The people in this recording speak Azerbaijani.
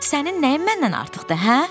Sənin nəyin məndən artıqdır, hə?